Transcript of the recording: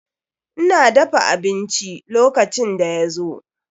Ina dafa abinci lokacin da ya zo.